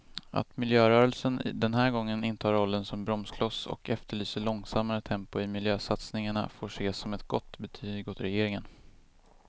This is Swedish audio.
Att miljörörelsen den här gången intar rollen som bromskloss och efterlyser långsammare tempo i miljösatsningarna får ses som ett gott betyg åt regeringen.